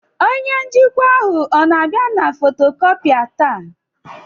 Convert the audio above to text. Onye njikwa ahụ ọ na-abịa na fotocopier taa?